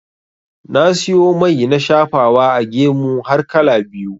Na siyo mai na shafawa a gemu har kala biyu.